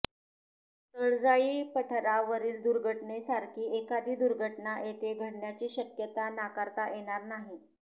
तळजाई पठारावरीलदुर्घटनेसारखी एखादी दुर्घटना येथे घडण्याची शक्यता नाकारता येणार नाही